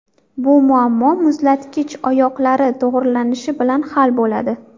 Bu muammo muzlatkich oyoqlari to‘g‘rilanishi bilan hal bo‘ladi.